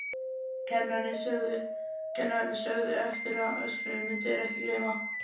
Kennararnir sögðu eftir á að öskrinu myndu þeir ekki gleyma.